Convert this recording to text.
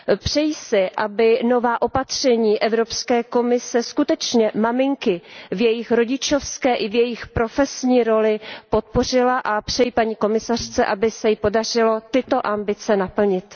Přeji si, aby nová opatření Evropské komise skutečně maminky v jejich rodičovské i v jejich profesní roli podpořila a přeji paní komisařce, aby se jí podařilo tyto ambice naplnit.